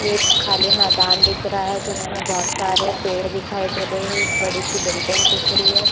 एक खाली मैदान दिख रहा है जिसमे बहुत सारे पेड़ दिखाई दे रहा है एक बड़ी सी बिल्डिंग दिख रही है।